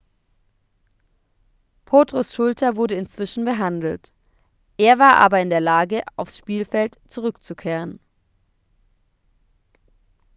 potros schulter wurde inzwischen behandelt er war aber in der lage aufs spielfeld zurückzukehren